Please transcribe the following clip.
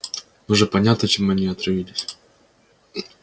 уже понятно чем они отравились